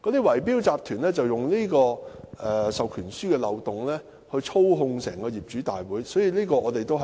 圍標集團就利用這個授權書的漏洞，操控業主大會。